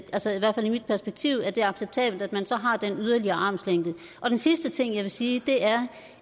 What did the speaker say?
mit perspektiv at det er acceptabelt at man så har den yderligere armslængde den sidste ting jeg vil sige er